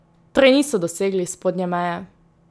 Torej niso dosegli spodnje meje?